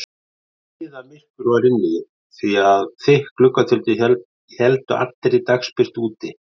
Niðamyrkur var inni því að þykk gluggatjöld héldu allri dagsbirtu úti.